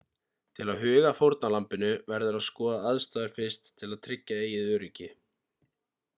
til að huga að fórnarlambinu verður að skoða aðstæður fyrst til að tryggja eigið öryggi